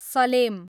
Salem